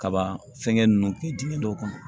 Kabaa fɛnkɛ ninnu kɛ dingɛn dɔw kɔnɔ